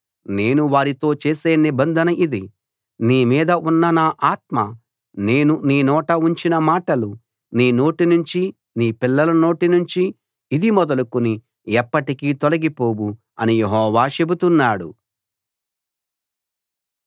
నేను వారితో చేసే నిబంధన ఇది నీ మీద ఉన్న నా ఆత్మ నేను నీ నోట ఉంచిన మాటలు నీ నోటినుంచీ నీ పిల్లల నోటి నుంచీ ఇది మొదలుకుని ఎప్పటికీ తొలగిపోవు అని యెహోవా చెబుతున్నాడు